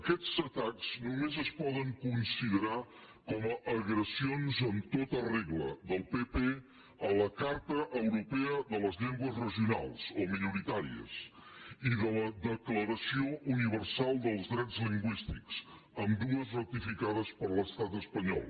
aquests atacs només es poden considerar com a agressions amb tota regla del pp a la carta europea de les llengües regionals o minoritàries i a la declaració universal dels drets lingüístics ambdues ratificades per l’estat espanyol